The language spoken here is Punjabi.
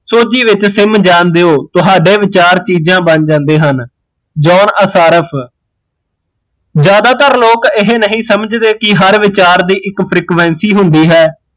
ਸੋਜੀ ਵਿੱਚ ਸਿਮ ਜਾਣ ਦਿਉ ਤੁਹਾਡੇ ਵਿਚਾਰ ਚੀਜ਼ਾਂ ਬਣ ਜਾਂਦੇ ਹਨ ਜੋਹਨ ਅਸਾਰਫ਼, ਜਿਆਦਾਤਰ ਲੋਕ ਇਹ ਨਹੀਂ ਸਮਜਦੇ ਕੀ ਹਰ ਵਿਚਾਰ ਦੀ ਇੱਕ frequency ਹੁੰਦੀ ਹੈ